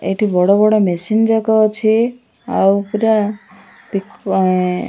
ଏଠି ବଡ଼ ବଡ଼ ମେସିନ୍ ଯାକ ଅଛି ଆଉ ପୁରା --